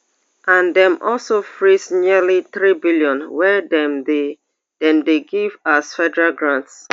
and dem also freeze nearly threebn wey dem dey dem dey give as federal grants